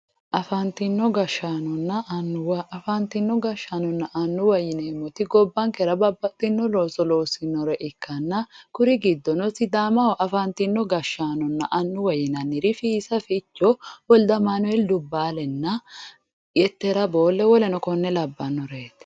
Afantino gashshaanonna annuwanna, afantino gashshaanonna annuwa gobbankera babbaxxino looso loossanore ikkanna kuri giddono sidaamaho afantino gashshaanona annuwa yinnanniri ,Fiisa Ficho, Woldeamanuel Dubbaalenna Yettera Boole woleno kore labbanoreti.